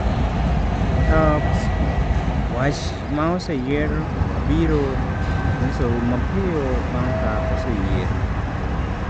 (Talksport) Wach ma oseyier wabiro nyisou mapiyo bang’ ka oseyier.